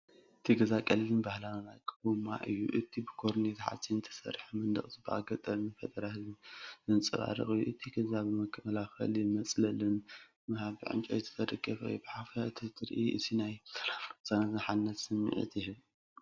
እቲ ገዛ ቀሊልን ባህላዊን ኣቃውማ እዩ። እቲ ብኮርጌት ሓጺን ዝተሰርሐ መንደቕ ጽባቐ ገጠርን ፈጠራ ህዝብን ዘንጸባርቕ እዩ። እቲ ገዛ ብመከላኸልን መጽለልን ንምሃብ ብዕንጨይቲ ዝተደገፈ እዩ። ብሓፈሻ እዚ ትርኢት እዚ ናይ ሰላምን ቅሳነትን ሓድነትን ስምዒት ይህብ።